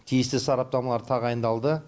тиісті сараптамалар тағайындалды